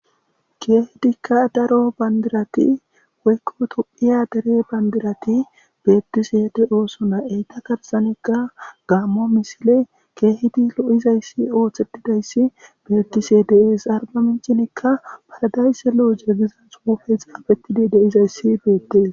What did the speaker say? keehedikka daro bandirati woykko tophiya dere bandirati beettisede7oosona eyta karsanekka gaammo misile keehidi lo7izayssi ooththetidayssi beettisedes argaminchinikka paydaysse lo7ojegizan xuufe xaafetidi de izayssi beettees